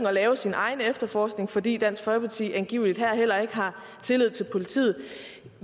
at lave sin egen efterforskning fordi dansk folkeparti angiveligt heller ikke her har tillid til politiet